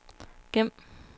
gem